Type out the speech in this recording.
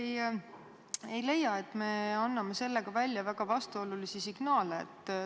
Kas te ei leia, et me anname sellega välja väga vastuolulisi signaale?